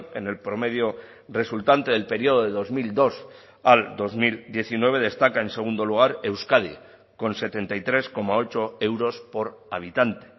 en el promedio resultante del periodo de dos mil dos al dos mil diecinueve destaca en segundo lugar euskadi con setenta y tres coma ocho euros por habitante